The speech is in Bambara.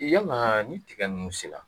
Yala ni tigɛ nunnu sela